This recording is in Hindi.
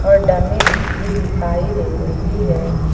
और डमी भी दिखाई दे रही है।